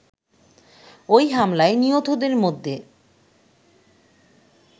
ওই হামলায় নিহতদের মধ্যে